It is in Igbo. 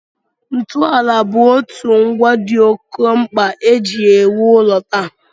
Ntụụlọ bụ otu ngwa dị oké mkpa e ji ewu ụlọ taa